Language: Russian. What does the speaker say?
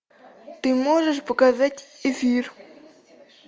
ты можешь показать эфир